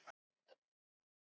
Við Garðar